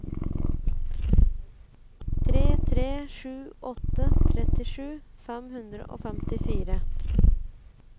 tre tre sju åtte trettisju fem hundre og femtifire